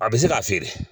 A bɛ se k'a feere